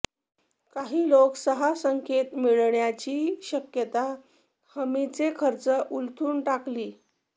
काही लोक सहा संकेत मिळण्याची शक्यता हमीचे खर्च उलथून टाकली